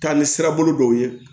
Taa ni sira bolo dɔw ye